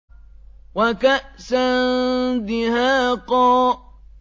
وَكَأْسًا دِهَاقًا